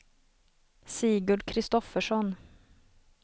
Sigurd Kristoffersson